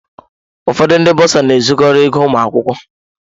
Ụfọdụ ndị bọsa na-ezukọrọ ego ụmụ akwụkwọ.